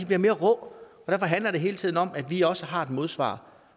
bliver mere rå og derfor handler det hele tiden om at vi også har et modsvar